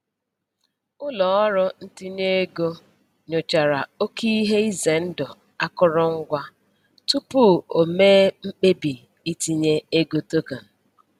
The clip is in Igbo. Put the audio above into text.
Ụlọọrụ ntinye ego nyochara oke ihe ize ndụ akụrụngwa tupu o mee mkpebi itinye ego token.